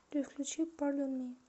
джой включи пардон ми